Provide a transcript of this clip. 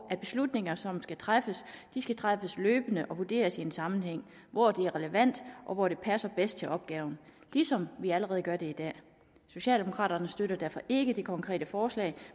at beslutninger som skal træffes skal træffes løbende og vurderes i en sammenhæng hvor det er relevant og hvor det passer bedst til opgaven ligesom vi allerede gør det i dag socialdemokraterne støtter derfor ikke det konkrete forslag